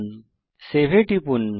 এখন সেভ এ টিপুন